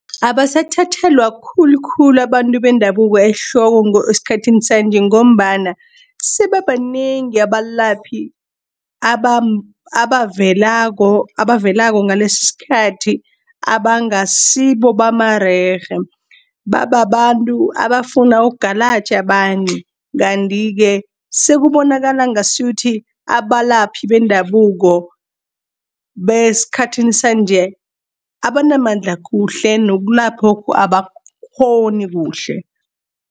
Abasathathelwa khulukhulu abantu bendabuko ehloko eskhathini sanje, ngombana sebabanengi abalaphi abavelako ngalesi iskhathi abangasibo bamarerhe. Babantu abafuna ungalatjha abanye, kanti-ke sekubonakala ngasuthi abalaphi bendabuko beskhathini sanje, abanamandla kuhle nokulaphoku abakghoni kuhle.